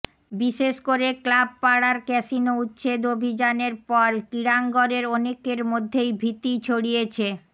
বিশেষ করে ক্লাব পাড়ার ক্যাসিনো উচ্ছেদ অভিযানের পর ক্রীড়াঙ্গনের অনেকের মধ্যেই ভীতি ছড়িয়েছে